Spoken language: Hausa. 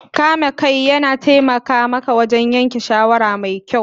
Kame kai yana taimaka maka yanke shawara mai kyau